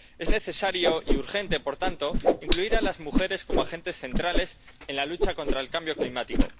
Es necesario y urgente, por tanto, incluir a las mujeres como agentes centrales en la lucha contra el cambio climático.